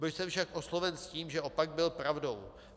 Byl jsem však osloven s tím, že opak byl pravdou.